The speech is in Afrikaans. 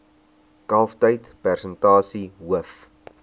kalftyd persentasie hoof